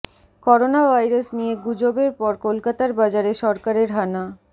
corona virus নিয়ে গুজবের পর কলকাতার বাজারে সরকারের হানা